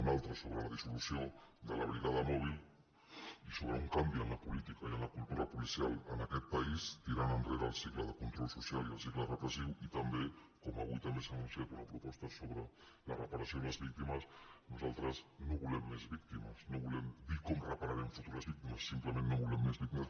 una altra sobre la dissolució de la brigada mòbil i so·bre un canvi en la política i en la cultura policial en aquest país tirant enrere el cicle de control social i el cicle repressiu i també com avui també s’ha anun ciat una proposta sobre la reparació i les víctimes nosal·tres no volem més víctimes no volem dir com repara·rem futures víctimes simplement no volem més vícti·mes